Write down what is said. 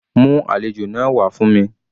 Mú àlejò náà wá fún mi.